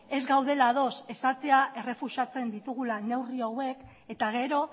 ez gaudela ados esatea errefusatzen ditugula neurri hauek eta gero